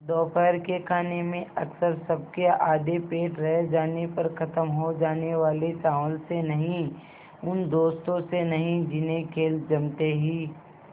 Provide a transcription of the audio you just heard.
दोपहर के खाने में अक्सर सबके आधे पेट रह जाने पर ख़त्म हो जाने वाले चावल से नहीं उन दोस्तों से नहीं जिन्हें खेल जमते ही